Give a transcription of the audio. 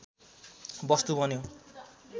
वस्तु बन्यो